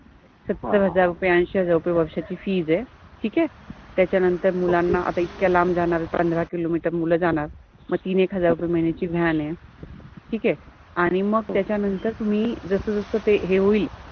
सत्तर हजार रुपे, अंशि हजार रुपे वर्षाचि फीज {fees} आहे ठिक आहे, त्याच्यानंतर मुलाना आता इतक्या लाम्ब जानार्या पंधरा किलोमिटर मुल जानार मग तिन एक हजार रुपे महिन्याचि व्हॅन {Van} आहे, ठिक आहे आणि मग जस जस ते हे होइल